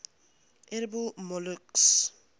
edible molluscs